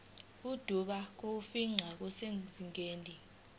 ubude bokufingqa busezingeni